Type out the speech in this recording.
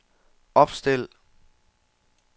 opstil